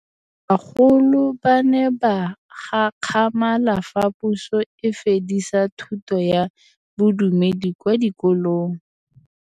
Bagolo ba ne ba gakgamala fa Pusô e fedisa thutô ya Bodumedi kwa dikolong.